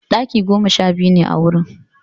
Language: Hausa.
Ɗaki goma sha biyu ne a wurin.